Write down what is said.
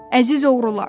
Əziz oğrular!